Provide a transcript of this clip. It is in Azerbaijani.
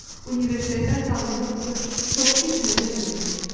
Universitetdən tanıdığı bu qız çox keçmədən ölmüşdü.